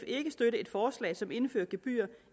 ikke støtte et forslag som indfører gebyrer